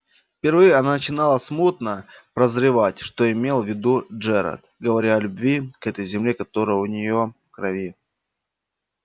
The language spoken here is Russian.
впервые она начинала смутно прозревать что имел в виду джералд говоря о любви к этой земле которая у неё в крови